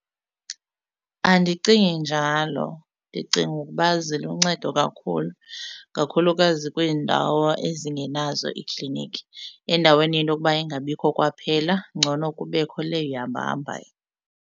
Andicingi njalo ndicinga ukuba ziluncedo kakhulu kakhulukazi kwiindawo ezingenazo iikliniki. Endaweni yento yokuba ingabikho kwaphela ngcono kubekho le ihamba hambayo.